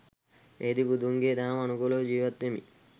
එහිදි බුදුන්ගේ දහම අනුකූලව ජීවත් වෙමින්